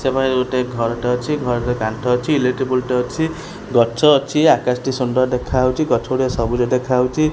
ସେ ପାଖେ ଗୋଟେ ଘର ଟେ ଅଛି ଘର ରେ କାନ୍ଥ ଅଛି ଇଲେକ୍ଟ୍ରି ପୁଲ ଟେ ଅଛି ଗଛ ଅଛି ଆକାଶ ଟି ସୁନ୍ଦର ଦେଖାହଉଚି ଗଛ ଗୁଡିକ ସବୁଜ ଦେଖାହଉଚି।